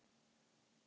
Hún brosti fallega.